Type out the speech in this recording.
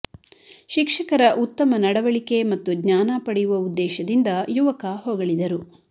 ಶಿಕ್ಷಕರ ಉತ್ತಮ ನಡವಳಿಕೆ ಮತ್ತು ಜ್ಞಾನ ಪಡೆಯುವ ಉದ್ದೇಶದಿಂದ ಯುವಕ ಹೊಗಳಿದರು